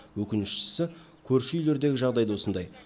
өкініштісі көрші үйлердегі жағдай да осындай